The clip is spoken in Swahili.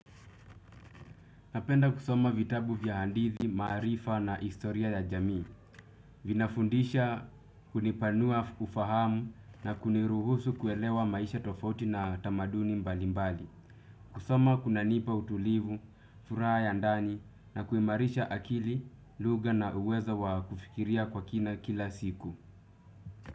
Napenda kusoma vitabu vya handithi, marifa na istoria ya jamii. Vinafundisha kunipanua kufahamu na kuniruhusu kuelewa maisha tofauti na tamaduni mbalimbali. Kusoma kunanipa utulivu, furaha ya ndani na kuimarisha akili, luga na uwezo wa kufikiria kwa kina kila siku.